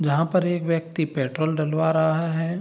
जहां पर एक व्यक्ति पेट्रोल डलवा रहा है।